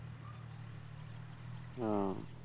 আহ